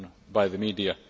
by the media.